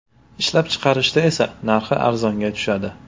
Ishlab chiqarishda esa narxi arzonga tushadi.